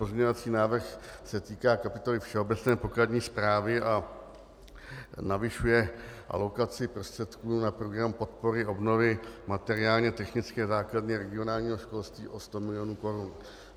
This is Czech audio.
Pozměňovací návrh se týká kapitoly Všeobecné pokladní zprávy a navyšuje alokaci prostředků na program podpory obnovy materiálně technické základny regionálního školství o sto milionů korun.